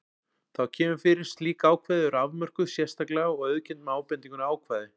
Þó kemur fyrir að slík ákvæði eru afmörkuð sérstaklega og auðkennd með ábendingunni ákvæði